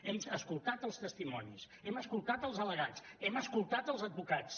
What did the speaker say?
hem escoltat els testimonis hem escoltat els al·legats hem escoltat els advocats